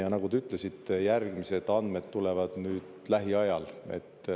Ja nagu te ütlesite, järgmised andmed tulevad nüüd lähiajal.